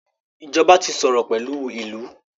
ìjọba tí sòrò pẹlú ilú.